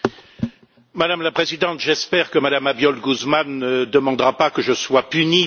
Madame la Présidente, j'espère que Mme Abiol Guzmán ne demandera pas que je sois puni par M.